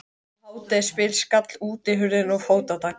Um hádegisbil skall útihurðin og fótatak